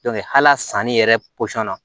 hali a sanni yɛrɛ na